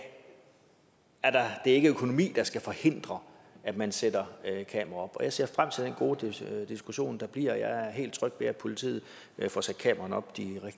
det ikke er økonomi der skal forhindre at man sætter kameraer op jeg ser frem til den gode diskussion der bliver jeg er helt tryg ved at politiet får sat kameraerne op